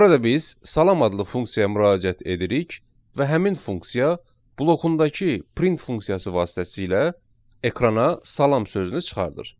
Burada biz salam adlı funksiyaya müraciət edirik və həmin funksiya blokundakı print funksiyası vasitəsilə ekrana salam sözünü çıxardır.